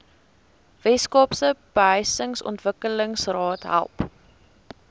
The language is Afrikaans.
weskaapse behuisingsontwikkelingsraad help